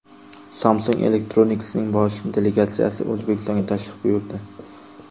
Samsung Electronics’ning bosh delegatsiyasi O‘zbekistonga tashrif buyurdi.